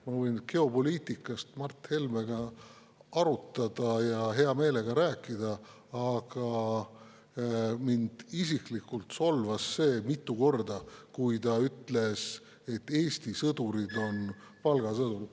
Ma võin hea meelega Mart Helmega geopoliitikast rääkida, aga mind isiklikult solvas see, kui ta mitu korda ütles, et Eesti sõdurid on palgasõdurid.